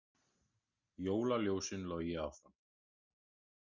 Jólaljósin logi áfram